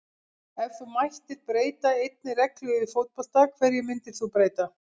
Ef þú mættir breyta einni reglu í fótbolta, hverju myndir þú breyta?